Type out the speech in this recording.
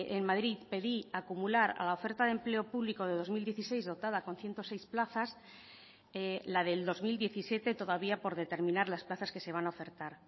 en madrid pedí acumular a la oferta de empleo público de dos mil dieciséis dotada con ciento seis plazas la del dos mil diecisiete todavía por determinar las plazas que se van a ofertar